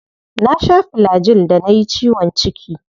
Na sha Flagyl da nayi ciwon ciki.